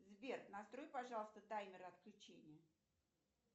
сбер настрой пожалуйста таймер отключения